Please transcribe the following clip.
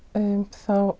þá